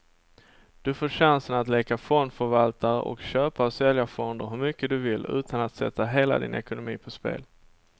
Du får chansen att leka fondförvaltare och köpa och sälja fonder hur mycket du vill, utan att sätta hela din ekonomi på spel.